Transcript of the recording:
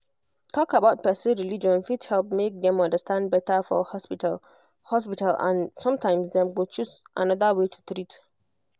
talk about person religion fit help make dem understand better for hospital hospital and sometimes dem go choose another way to treat